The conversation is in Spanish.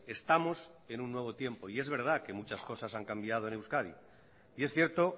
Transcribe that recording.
estamos en un nuevo tiempo y es verdad que muchas cosas han cambiado en euskadi y es cierto